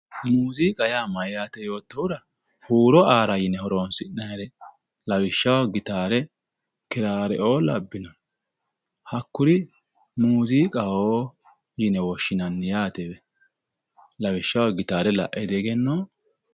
muziiqa yaa mayyaate yoottohura huuro aara yine horonsi'nannire lawishshaho gitaare kiraareoo labbnore hakkuri muziiqaho yine woshshinanni yaatewe lawishshaho gitaare la'e diegenoo?